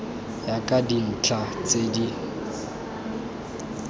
ya ka dintlha tse di